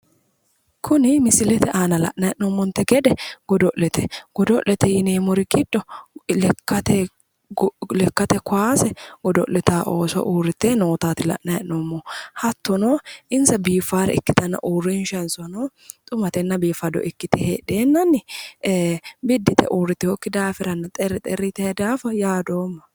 kuni misilete aana la'nanni hee'noomonte gede godo'lete godo'lete yineemmori giddo lekkate kowaase godo'litaa ooso urrite nootaati la'nanni heennoommohu hattono insa biiffaare ikkitanna uurrinshansanno xumatenna biiffaata ikkite heedheenna ee biddi yite uurritinokki daafiranna xerri xerri yitino daafo yaadoomma.